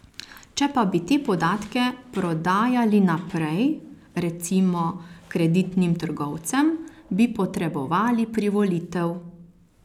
Če pa bi te podatke prodajali naprej, recimo kreditnim trgovcem, bi potrebovali privolitev.